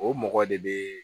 O mɔgɔ de be